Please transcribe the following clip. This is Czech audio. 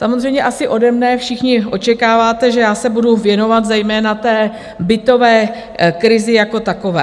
Samozřejmě asi ode mne všichni očekáváte, že já se budou věnovat zejména té bytové krizi jako takové.